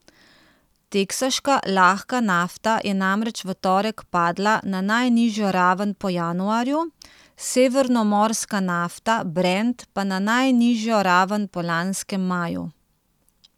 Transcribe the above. Teksaška lahka nafta je namreč v torek padla na najnižjo raven po januarju, severnomorska nafta brent pa na najnižjo raven po lanskem maju.